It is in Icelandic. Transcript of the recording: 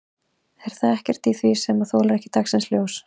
En það er ekkert í því sem þolir ekki dagsins ljós?